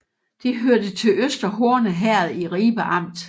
Det hørte til Øster Horne Herred i Ribe Amt